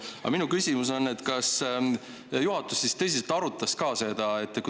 Aga minu küsimus on, et kas juhatus tõsiselt ka arutas seda.